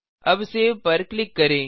अब सेव पर क्लिक करें